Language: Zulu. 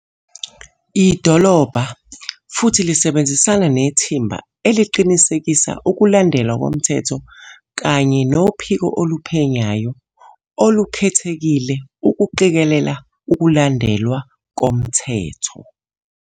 Idolobha futhi lisebenzisana nethimba eliqinisekisa ukulandelwa komthetho kanye noPhiko Oluphenyayo Olu-khethekile ukuqikelela ukulandelwa komthetho.